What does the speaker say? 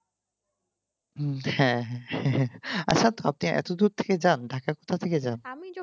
উহ হ্যাঁ হ্যাঁ আসার পথে এতদূর থেকে